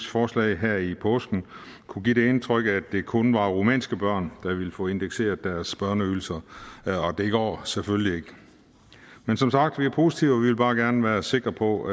forslag her i påsken kunne give det indtryk at det kun var rumænske børn der ville få indekseret deres børneydelser og det går selvfølgelig ikke men som sagt er vi positive vi vil bare gerne være sikre på